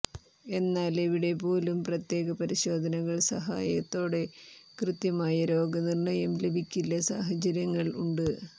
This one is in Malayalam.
എന്നാൽ എവിടെ പോലും പ്രത്യേക പരിശോധനകൾ സഹായത്തോടെ കൃത്യമായ രോഗനിർണയം ലഭിക്കില്ല സാഹചര്യങ്ങൾ ഉണ്ട്